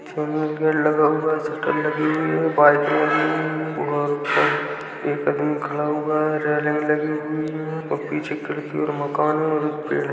Channel gate लगा हुआ है शटर लगी हुई है बाइक लगी हुई है और एक आदमी खड़ा हुआ है रेलिंग लगी हुई है और पीछे खिड़की और मकान है और एक पेड़ है।